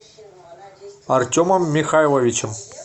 артемом михайловичем